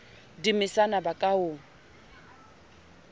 di mesana ba ka o